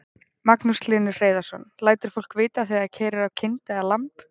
Magnús Hlynur Hreiðarsson: Lætur fólk vita þegar það keyrir á kind eða lamb?